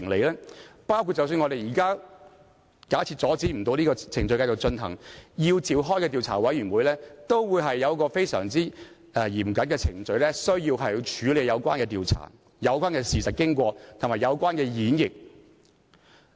假設我們不能阻止這個程序繼續進行，繼而要設立調查委員會，當中都訂明非常嚴謹的程序來處理有關調查事實、經過和演繹的事宜。